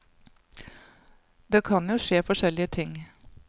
Det kan jo skje forskjellige ting.